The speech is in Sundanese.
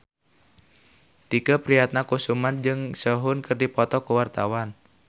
Tike Priatnakusuma jeung Sehun keur dipoto ku wartawan